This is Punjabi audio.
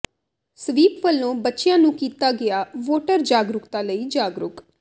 ਸਵੀਪ ਵੱਲੋਂ ਬੱਚਿਆਂ ਨੂੰ ਕੀਤਾ ਗਿਆ ਵੋਟਰ ਜਾਗਰੂਕਤਾ ਲਈ ਜਾਗਰੂਕ